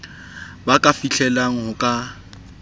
ba ka fihlellang ho ka